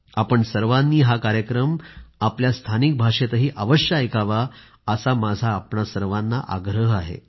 आपण सर्वांनी हा कार्यक्रम आपल्या स्थानिक भाषेतही अवश्य ऐकावा असा माझा आपल्या सर्वांना आग्रह आहे